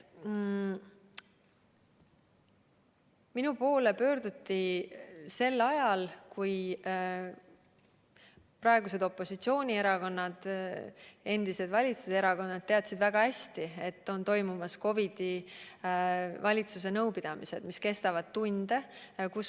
Minu poole pöörduti sel ajal, kui praegused opositsioonierakonnad, endised valitsuserakonnad teadsid väga hästi, et on toimumas COVID-i teemal valitsuse nõupidamised, mis kestavad tunde.